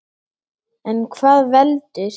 En hvað veldur?